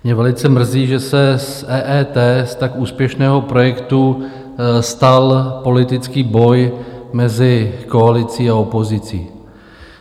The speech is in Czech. Mě velice mrzí, že se z EET, z tak úspěšného projektu, stal politický boj mezi koalicí a opozicí.